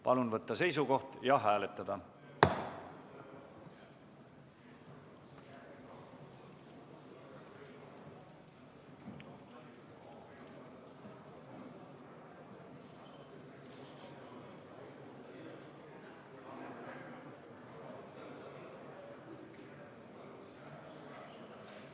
Palun võtta seisukoht ja hääletada!